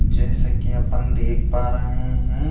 जैसे कि अपन देख पा रहे हैं।